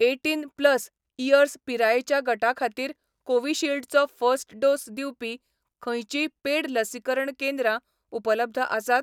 Eighteen plus years पिरायेच्या गटा खातीर कोविशिल्डचो फर्स्ट डोस दिवपी खंयचींय पेड लसीकरण केंद्रां उपलब्ध आसात?